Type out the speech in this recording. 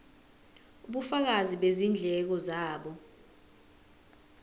ubufakazi bezindleko zabo